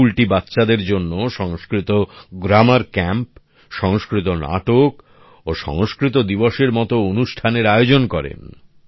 এই স্কুলটি বাচ্চাদের জন্য সংস্কৃত গ্রামার ক্যাম্প সংস্কৃত নাটক ও সংস্কৃত দিবসের মত অনুষ্ঠানের আয়োজন করে